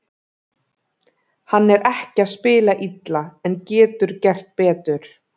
Hann er ekki að spila illa, en getur gert betur.